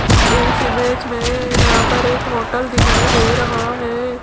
इस इमेज में यहां पर एक होटल दिखाई दे रहा है।